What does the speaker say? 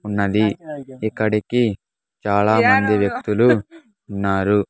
ఉన్నది ఇక్కడికి చాలామంది వ్యక్తులు ఉన్నారు.